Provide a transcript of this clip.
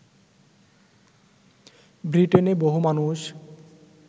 ব্রিটেনে বহু মানুষ